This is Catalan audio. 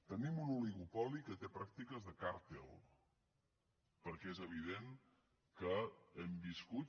tenim un oligopoli que té pràctiques de càrtel perquè és evident que hem viscut